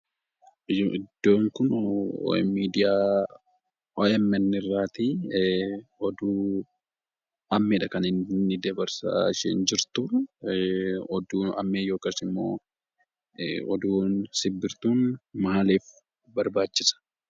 Iddoon kun miidiyaa OMN irraatii oduu ammeedha kan isheen dabarsaa jirtu. Oduu ammee yookaan immoo oduu simbirtuun maaliif barbaachisa?